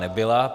Nebyla.